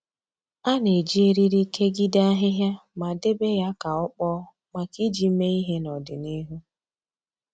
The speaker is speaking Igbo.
A na-eji eriri kegide ahịhịa ma debe ya ka ọ kpọọ maka iji mee ihe n’odịnihu